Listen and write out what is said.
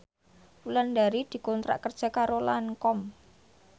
Wulandari dikontrak kerja karo Lancome